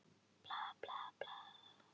Og það er ofur skiljanlegt.